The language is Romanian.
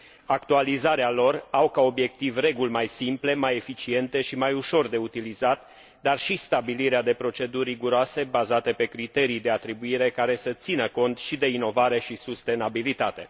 Actualizarea lor are ca obiectiv reguli mai simple, mai eficiente și mai ușor de utilizat, dar și stabilirea de proceduri riguroase, bazate pe criterii de atribuire care să țină cont și de inovare și sustenabilitate.